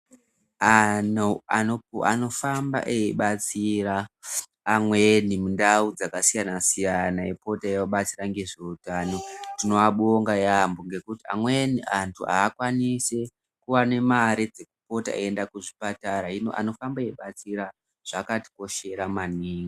Antu anofamba eibatsira amweni muntau dzakasiyana siyana eipota eiabatsira ngezveutano tinoabonga yambo ngekuti amweni antu aakwanisi kuwane mare dzekupota eienda kuzvipatara, hino anofamba eitibatsira zvakatikoshera maningi.